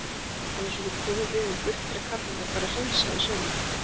Annars verður kofinn rifinn burt þegar kallarnir fara að hreinsa í sumar.